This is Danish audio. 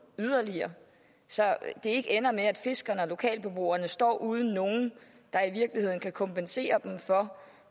yderligere så det ikke ender med at fiskerne og lokalbeboerne står uden nogen der i virkeligheden kan kompensere dem for